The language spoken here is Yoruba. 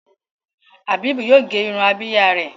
Habib yíò gé Irun Abíyá rẹ.